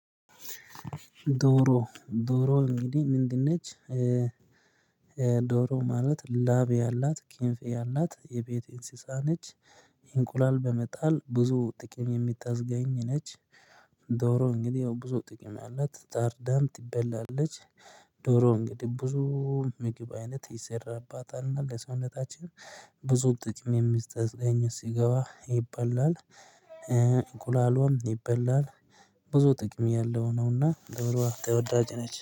ዶሮ ዶሮ እንግዲህ ምንድን ነች? ዶሮ ማለት ላብ ያላት ክንፍ ያላት የቤት እንስሳ ነች። እንቁላል በመጣል ብዙ ጥቅም የምታስገኝ ነች። ዶሮ እንግዲህ ያው ብዙ ጥቅም ያላት ታርዳም ትበላለች። ዶሮ እንግዲህ ብዙ ምግብ አይነት ይሠራባታል እና ለሰውነታችን ብዙ ጥቅም የሚስተዝገኝ ሥጋዋ ይበላል። እንቁላልዋም ይበላል። ብዙ ጥቅም ያለው ነውና ደብረዋ ተወዳጅ ነች